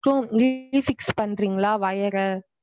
So திரும்பியும் fix பன்றின்களா wire ர